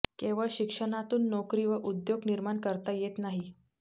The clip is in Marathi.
केवळ शिक्षणातून नोकरी व उद्योग निर्माण करता येत नाही